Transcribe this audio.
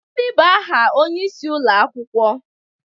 Gịnị bụ aha onyeisi ụlọ akwụkwọ?